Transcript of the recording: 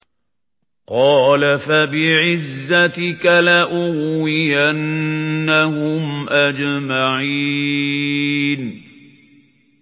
قَالَ فَبِعِزَّتِكَ لَأُغْوِيَنَّهُمْ أَجْمَعِينَ